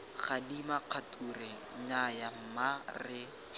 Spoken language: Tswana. gadima kgature nnyaya mma re